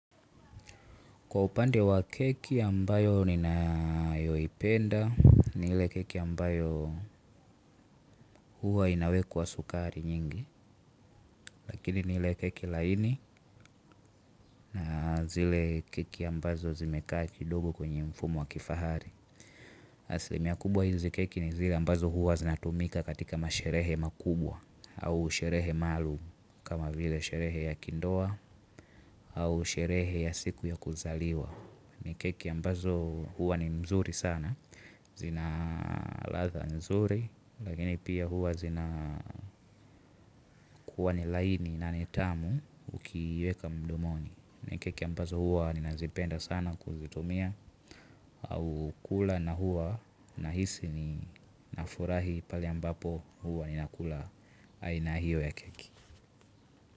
Kwa upande wa keki ambayo ninayoipenda ni ile keki ambayo huwa inawekwa sukari nyingi. Lakini ni ile keki laini na zile keki ambazo zimekaa kidogo kwenye mfumo wa kifahari. Aslimia kubwa hizi keki ni zile ambazo huwa zinatumika katika masherehe makubwa. Au sherehe maluum kama vile sherehe ya kindoa au sherehe ya siku ya kuzaliwa. Ni keki ambazo huwa ni mzuri sana. Zina ladha nzuri. Lakini pia huwa zina kuwa ni laini na ni tamu ukiweka mdomoni. Na keki ambazo huwa ninazipenda sana kuzitumia au kula na huwa na hisi ni nafurahi pale ambapo huwa ninakula. Aina hiyo ya keki.